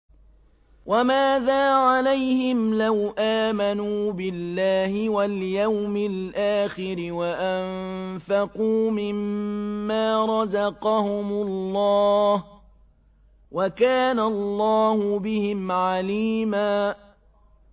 وَمَاذَا عَلَيْهِمْ لَوْ آمَنُوا بِاللَّهِ وَالْيَوْمِ الْآخِرِ وَأَنفَقُوا مِمَّا رَزَقَهُمُ اللَّهُ ۚ وَكَانَ اللَّهُ بِهِمْ عَلِيمًا